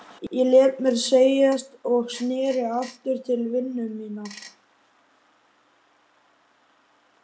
Ég lét mér segjast og sneri aftur til vinnu minnar.